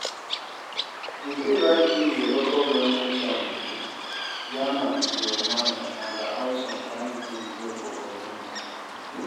You fit write give your local goverment chairman, yarn am your mind and how some kind things dey for community